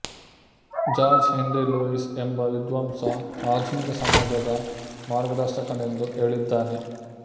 George Henry Lewes ಎಂಬ ವಿದ್ವಾಂಸ ಆಧುನಿಕ ಸಮಾಜದ ಮಾರ್ಗದರ್ಶಕನೆಂದು ಹೇಳಿದ್ದಾನೆ